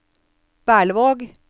Berlevåg